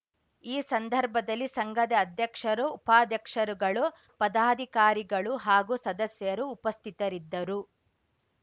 ಈ ಸಂದರ್ಭದಲ್ಲಿ ಸಂಘದ ಅಧ್ಯಕ್ಷರು ಉಪಾಧ್ಯಕ್ಷರುಗಳು ಪದಾಧಿಕಾರಿಗಳು ಹಾಗೂ ಸದಸ್ಯರು ಉಪಸ್ಥಿತರಿದ್ದರು